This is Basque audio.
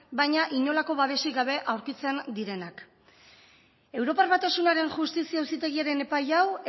baina inolako babesik gabe aurkitzen direnak europar batasunaren justizia auzitegiaren epai hau